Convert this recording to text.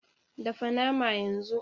Dafa naman yanzu!